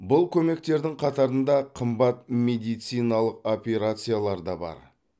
бұл көмектердің қатарында қымбат медициналық операциялар да бар